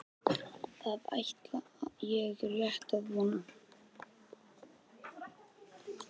Það ætla ég rétt að vona.